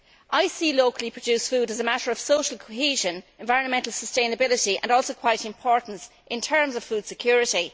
I see locally produced food as a matter of social cohesion and environmental sustainability, and it is also quite important in terms of food security.